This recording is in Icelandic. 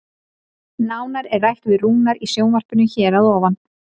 Nánar er rætt við Rúnar í sjónvarpinu hér að ofan.